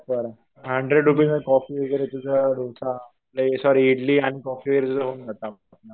Proper. Hundred rupees मध्ये coffee वगैरे तुझं डोसा सॉरी इडली आणि कॉफी वगैरे तुझं होऊन जातं.